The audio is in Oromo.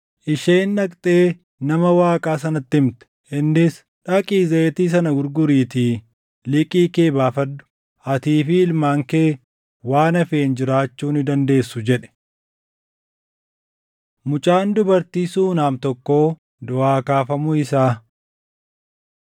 Isheen dhaqxee nama Waaqaa sanatti himte; innis, “Dhaqii zayitii sana gurguriitii liqii kee baafadhu. Atii fi ilmaan kee waan hafeen jiraachuu ni dandeessu” jedhe. Mucaan Dubartii Suunam Tokkoo Duʼaa Kaafamuu Isaa